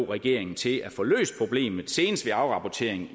regeringen til at få løst problemet senest ved afrapportering